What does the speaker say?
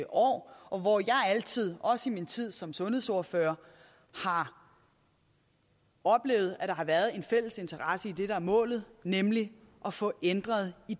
år og hvor jeg altid også i min tid som sundhedsordfører har oplevet at der har været en fælles interesse i det der er målet nemlig at få ændret i